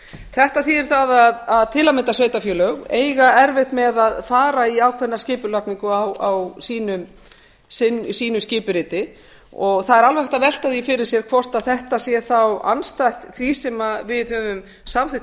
þetta þýðir það að til að mynda sveitarfélög eiga erfitt með að fara í ákveðna skipulagningu á sínu skipuriti og það er alveg hægt að velta því fyrir sér hvort þetta sé þá andstætt því sem við höfum samþykk